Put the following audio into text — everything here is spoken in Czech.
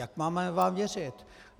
Jak vám máme věřit?